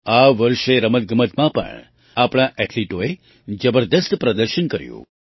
આ વર્ષે રમતગમતમાં પણ આપણા ઍથ્લીટોએ જબરદસ્ત પ્રદર્શન કર્યું